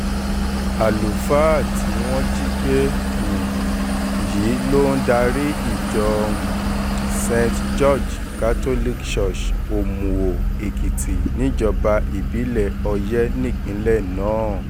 àlùfáà tí wọ́n jí gbé um yìí ló ń darí ìjọ um st george catholic church omuo-ekitì níjọba ìbílẹ̀ oyè nípínlẹ̀ náà